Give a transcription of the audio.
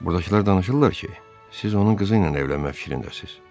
Buradakılar danışırlar ki, siz onun qızı ilə evlənmək fikrindəsiz.”